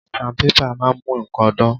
Sandpaper máa ń mú nǹkan dán.